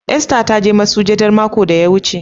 "Esther " ta je masujaɗa makon da ya wuce.